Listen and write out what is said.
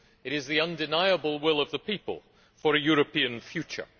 It is the undeniable will of the people for a European future.